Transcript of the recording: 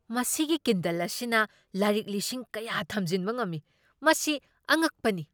ꯃꯁꯤꯒꯤ ꯀꯤꯟꯗꯜ ꯑꯁꯤꯅ ꯂꯥꯏꯔꯤꯛ ꯂꯤꯁꯤꯡ ꯀꯌꯥ ꯊꯝꯖꯤꯟꯕ ꯉꯝꯃꯤ꯫ ꯃꯁꯤ ꯑꯉꯛꯄꯅꯤ!